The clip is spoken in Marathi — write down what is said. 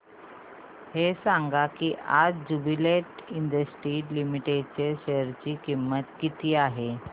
हे सांगा की आज ज्युबीलेंट इंडस्ट्रीज लिमिटेड च्या शेअर ची किंमत किती आहे